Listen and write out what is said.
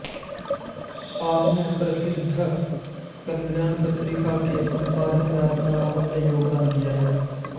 आपने प्रसिद्व कल्याण पत्रिका के सम्पादन में अपना अमूल्य योगदान दिया है